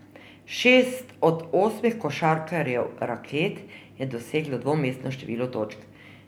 Šest od osmih košarkarjev Raket je doseglo dvomestno število točk.